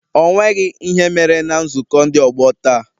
Ọ nweghị ihe mere na nzukọ ndị ọgbọ taa